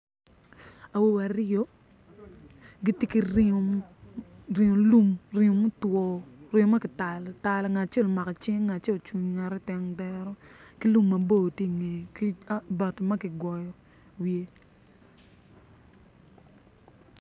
Awobe aryo gitye ki ringo lum ringo mutwo ma kitalo atala ngat acel ocung i nget tandero ki lum mabor tye i ngeye